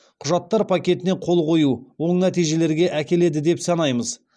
құжаттар пакетіне қол қою оң нәтижелерге әкеледі деп санаймыз